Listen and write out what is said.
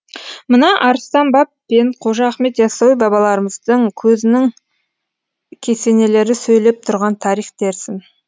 мына арыстан баб пен қожа ахмет яссауи бабаларымыздың көзінің кесенелері сөйлеп тұрған тарих дерсін